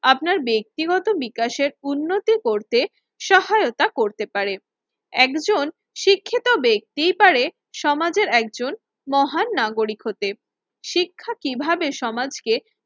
আপনার ব্যক্তিগত বিকাশের উন্নতি করতে সহায়তা করতে পারে। একজন শিক্ষিত ব্যক্তিই পারে সমাজের একজন মহান নাগরিক হতে। শিক্ষা কিভাবে সমাজকে